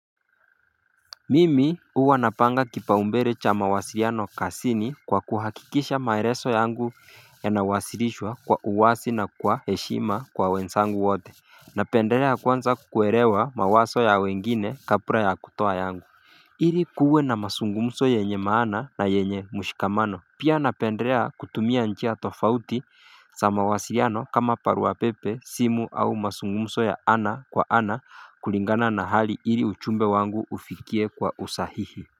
Mimi huwa napanga kipaumbele cha mawasiliano kazini kwa kuhakikisha maelezo yangu yanawasilishwa kwa uwazi na kwa heshima kwa wenzangu wote Napendelea kwanza kukuelewa mawazo ya wengine kabla ya kutoa yangu Ili kuwe na mazungumzo yenye maana na yenye mushkamano Pia napendelea kutumia njia tofauti za mawasiliano kama barua pepe, simu au mazungumzo ya ana kwa ana kulingana na hali ili ujumbe wangu ufikie kwa usahihi.